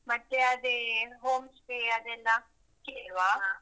ಮತ್ತೆ ಅದೇ home stay ಅದೆಲ್ಲಾ ಕೇಳುವ.